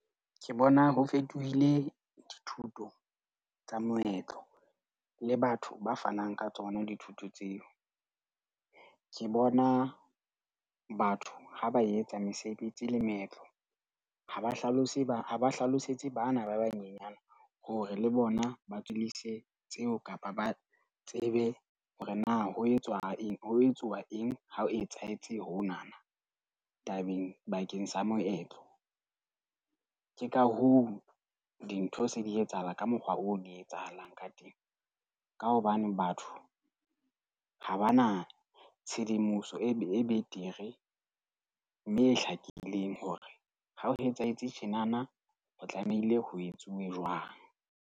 Ke bona ho fetohile dithuto tsa moetlo le batho ba fanang ka tsona dithuto tseo. Ke bona batho ha ba etsa mesebetsi le moetlo, ha ba hlalose ba ba hlalosetse bana ba banyenyana hore le bona ba tswellise tseo kapa ba tsebe hore na ho etswa eng ho etsuwa eng ha o etsahetse honana tabeng bakeng sa moetlo. Ke ka hoo dintho se di etsahala ka mokgwa oo di etsahalang ka teng, ka hobane batho ha ba na tshedimoso e betere mme e hlakileng hore ha o etsahetse tjenana ho tlamehile ho etsuwe jwang.